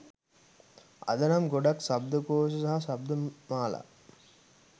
අද නම් ගොඩක් ශබ්දකෝශ සහ ශබ්දමාලා.